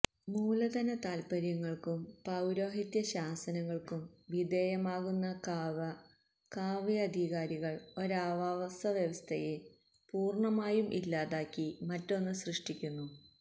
മൂലധന താല്പര്യങ്ങല്ക്കും പൌരോഹിത്യ ശാസനകള്ക്കും വിധേയമാകുന്ന കാവധികാരികള് ഒരാവാസ വ്യവസ്ഥയെ പൂര്ണ്ണമായും ഇല്ലാതാക്കി മറ്റൊന്ന് സൃഷ്ടിക്കുന്നു